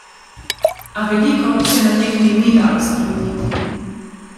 A veliko se na tekmi ni dalo spremeniti.